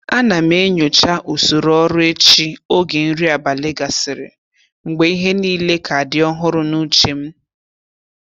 A na m enyocha usoro ọrụ echi oge nri abalị gasịrị, mgbe ihe niile ka dị ọhụrụ n'uche m.